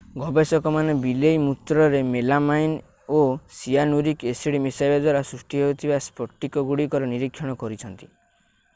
ଗବେଷକମାନେ ବିଲେଇ ମୂତ୍ରରେ ମେଲାମାଇନ୍ ଓ ସିଆନୁରିକ୍ ଏସିଡ୍ ମିଶାଇବା ଦ୍ୱାରା ସୃଷ୍ଟି ହେଉଥିବା ସ୍ଫଟିକଗୁଡ଼ିକର ନିରୀକ୍ଷଣ କରିଛନ୍ତି